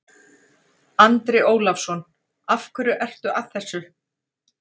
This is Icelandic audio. Andri Ólafsson: Af hverju ertu að þessu?